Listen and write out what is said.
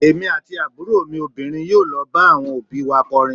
Èmi àti àbúrò mi obìnrin yóò lọ bá àwọn òbí í wa kọrin.